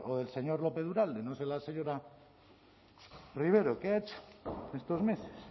de españa o del señor lópez uralde no sé la señora rivero qué ha hecho estos meses